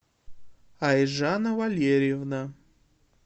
айжана валерьевна